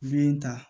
Min ta